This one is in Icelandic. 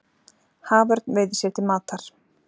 Haförn veiðir sér til matar.